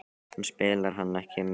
En spilar hann ekki með Ægi?